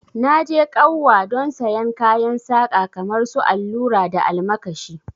Na je kauwa don sayen kayan saka kamar su allura da almakashi